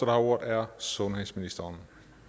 har ordet er sundhedsministeren og